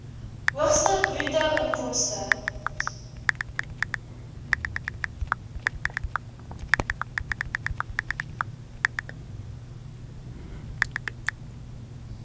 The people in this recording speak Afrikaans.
hoogste bruto inkomste